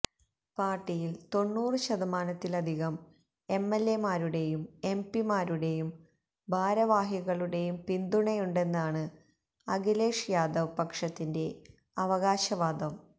പാര്ട്ടിയില് തൊണ്ണൂറ് ശതമാനത്തിലധികം എംഎല്എമാരുടെയും എംപിമാരുടെയും ഭാരവാഹികളുടെയും പിന്തുണയുണ്ടെന്നാണ് അഖിലേഷ് യാദവ് പക്ഷത്തിന്റെ അവകാശവാദം